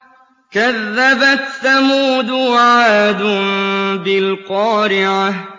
كَذَّبَتْ ثَمُودُ وَعَادٌ بِالْقَارِعَةِ